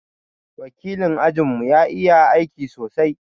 wakilin ajin mu ya iƴa aiki sosai.